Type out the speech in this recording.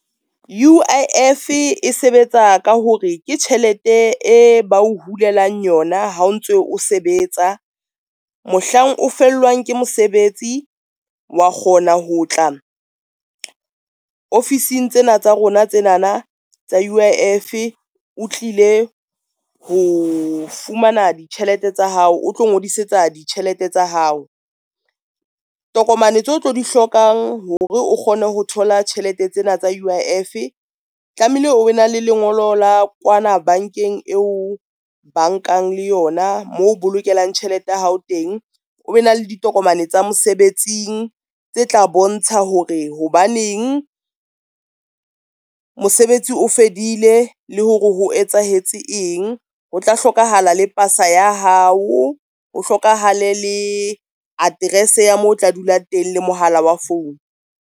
U_I_F e sebetsa ka hore ke tjhelete e ba o hulelang yona ha o ntso o sebetsa, mohlang o fellwang ke mosebetsi wa kgona ho tla ofising tsena tsa rona tsena na tsa U_I_F o tlile ho fumana ditjhelete tsa hao, o tlo ngodisetsa ditjhelete tsa hao. Tokomane tseo tlo di hlokang hore o kgone ho thola tjhelete tsena tsa U_I_F tlamehile o be na le lengolo la kwana bankeng eo bankang le yona mo bolokelang tjhelete ya hao teng. O be na le ditokomane tsa mosebetsing tse tla bontsha hore hobaneng mosebetsi o fedile le hore ho etsahetse eng, ho tla hlokahala le pasa ya hao, ho hlokahale le address ya moo o tla dula teng le mohala wa phone.